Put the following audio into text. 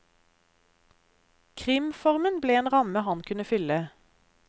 Krimformen ble en ramme han kunne fylle.